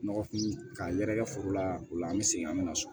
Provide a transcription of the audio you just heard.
Nɔgɔfin ka yɛrɛkɛ foro la o la an bɛ segin an bɛ na so